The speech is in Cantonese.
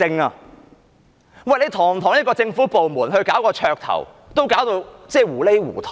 代理主席，堂堂一個政府部門，搞綽頭都搞到糊裏糊塗。